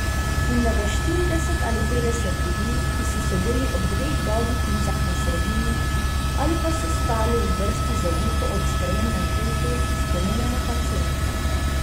In da ga štirideset ali petdeset ljudi, ki so sedeli ob dveh dolgih mizah na sredini, ali pa so stali v vrsti za juho ob sprejemnem pultu, spominja na paciente.